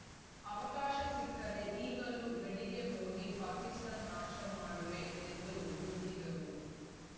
ಅವಕಾಶ ಸಿಕ್ಕರೆ ಈಗಲೂ ಗಡಿಗೆ ಹೋಗಿ ಪಾಪಿಸ್ತಾನ್‌ ನಾಶ ಮಾಡವೆ ಎಂದು ಗುಡುಗಿದರು